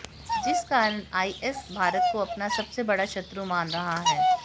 जिस कारण आईएस भारत को अपना सबसे बड़ा शत्रु मान रहा है